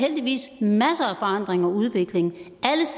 heldigvis masser af forandring og udvikling alle